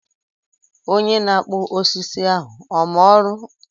Onye na-akpụ osisi ahụ ọ ma ọrụ?